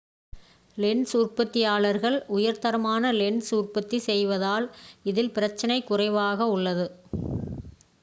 lens உற்பத்தியாளர்கள் உயர்தரமான lens உற்பத்தி செய்வதால் இதில் பிரச்சினை குறைவாக உள்ளது